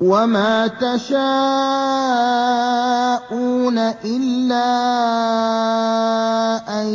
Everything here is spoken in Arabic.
وَمَا تَشَاءُونَ إِلَّا أَن